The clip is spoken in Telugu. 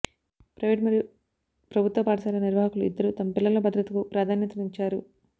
ప్రైవేట్ మరియు ప్రభుత్వ పాఠశాల నిర్వాహకులు ఇద్దరూ తమ పిల్లల భద్రతకు ప్రాధాన్యతనిచ్చారు